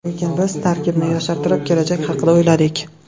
Lekin biz tarkibni yoshartirib, kelajak haqida o‘yladik.